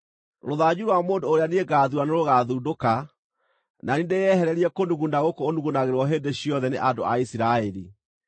Rũthanju rwa mũndũ ũrĩa niĩ ngaathuura nĩrũgũthundũka, na niĩ ndĩyehererie kũnuguna gũkũ ũnugunagĩrwo hĩndĩ ciothe nĩ andũ a Isiraeli.”